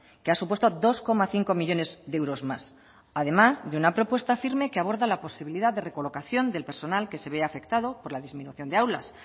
que ha supuesto dos coma cinco millónes de euros más además de una propuesta firme que aborda la posibilidad de recolocación del personal que se ve afectado por la disminución de aulas